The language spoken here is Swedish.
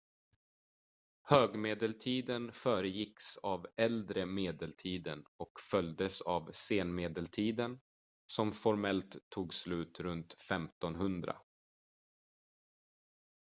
högmedeltiden föregicks av äldre medeltiden och följdes av senmedeltiden som formellt tog slut runt 1500